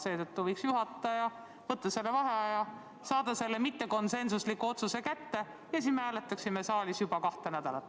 Seetõttu võiks juhataja võtta vaheaja, saada mittekonsensuslik otsus kätte ja siis me hääletaksime saalis juba kahte nädalat.